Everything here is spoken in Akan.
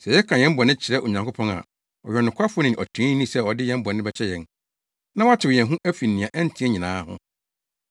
Sɛ yɛka yɛn bɔne kyerɛ Onyankopɔn a, ɔyɛ ɔnokwafo ne ɔtreneeni sɛ ɔde yɛn bɔne bɛkyɛ yɛn, na watew yɛn ho afi nea ɛnte nyinaa ho.